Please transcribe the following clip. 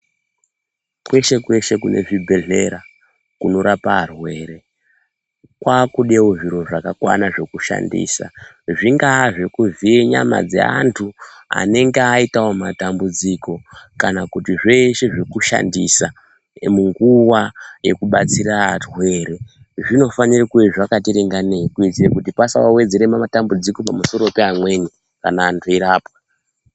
Kweshe kweshe kune zvibhedhlera kunorape arwere, kwaakudewo zviro zvakakwana zvekushandisa, zvingaa zveku dziya nyama dzeandu anenge aitawo matambudziko kana kuti zveshe zvekushandisa munguwa yekubatsira arwere, zvinofawe kunge zvakati ringanei kuitira kuti pasawedzere matambudziko pamusoro peamweni kana andu eirapwa.